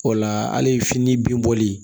O la hali fini binbɔli